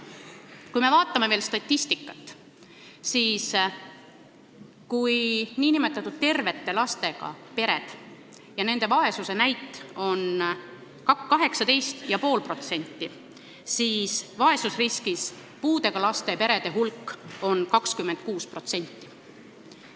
Kui me veel statistikat vaatame, siis näeme, et nn tervete lastega perede vaesuse näit on 18,5%, aga vaesusriskis puudega laste peresid on 26%.